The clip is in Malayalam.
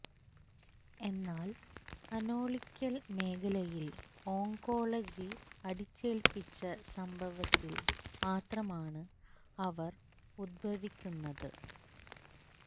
എന്നാൽ അനോളിക്കൽ മേഖലയിൽ ഓങ്കോളജി അടിച്ചേൽപ്പിച്ച സംഭവത്തിൽ മാത്രമാണ് അവർ ഉത്ഭവിക്കുന്നത്